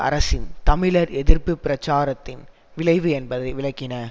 அரசின் தமிழர் எதிர்ப்பு பிரச்சாரத்தின் விளைவு என்பதை விளக்கின